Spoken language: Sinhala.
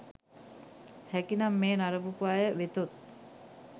හැකිනම් මෙය නරඹපු අය වෙතොත්